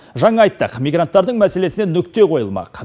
жаңа айттық мигранттардың мәселесіне нүкте қойылмақ